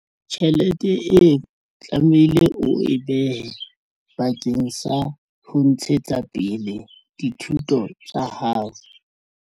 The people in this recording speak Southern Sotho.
Tjhelete e tlamehile o e behe bakeng sa ho ntshetsa pele dithuto tsa hao.